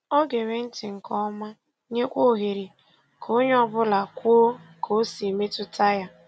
O gere ntị nke ọma, nyekwa ohere ka onye ọ bụla kwuo ka o si mmetụta ya.